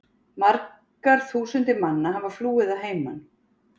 Margar þúsundir manna hafa flúið að heiman.